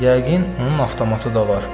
Yəqin onun avtomatı da var.